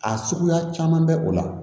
A suguya caman bɛ o la